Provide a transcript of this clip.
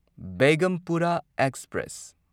Begampura express